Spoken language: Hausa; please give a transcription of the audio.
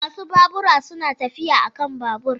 Masu babura suna tafiya a kan babur.